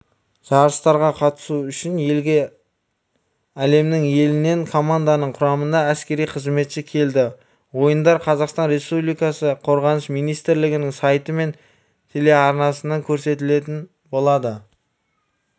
жарыстарға қатысу үшін елге әлемнің елінен команданың құрамында әскери қызметші келді ойындар қазақстан республикасы қорғаныс министрлігінің сайты мен телеарнасынан көрсетілетін болады